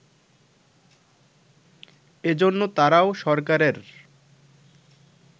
এজন্য তারাও সরকারের